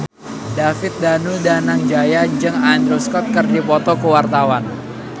David Danu Danangjaya jeung Andrew Scott keur dipoto ku wartawan